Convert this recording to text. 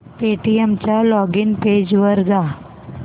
Paytm च्या login page वर जा